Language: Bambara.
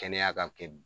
Kɛnɛya ka kɛ